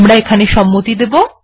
আমরা এখানে সম্মতি দেব